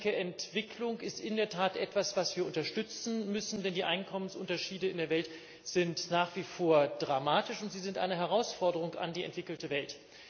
Und ich denke, Entwicklung ist in der Tat etwas, was wir unterstützen müssen, denn die Einkommensunterschiede in der Welt sind nach wie vor dramatisch, und sie sind eine Herausforderung an die entwickelte Welt.